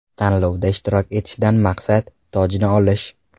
Tanlovda ishtirok etishdan maqsad: tojni olish.